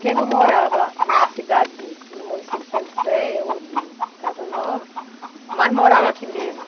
Quem não morava na cidade de, no município de Santo Sé ou de Casa Nova, mas morava aqui mesmo.